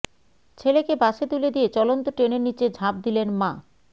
ছেলেকে বাসে তুলে দিয়ে চলন্ত ট্রেনের নিচে ঝাঁপ দিলেন মা